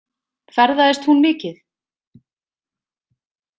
Ferðaðist hún mikið?